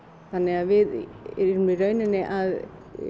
þannig að við erum í rauninni að